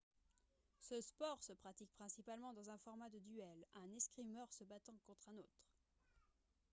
ce sport se pratique principalement dans un format de duel un escrimeur se battant contre un autre